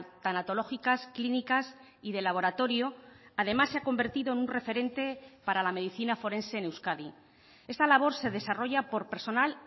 tanatológicas clínicas y de laboratorio además se ha convertido en un referente para la medicina forense en euskadi esta labor se desarrolla por personal